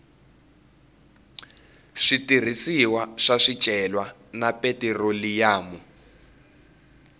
switirhisiwa swa swicelwa na petiroliyamu